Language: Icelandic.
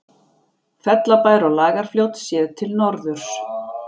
Fellabær og Lagarfljót séð til norðurs.